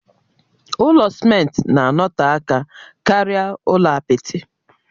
Ụlọ simenti na-anọte aka karịa ụlọ apịtị.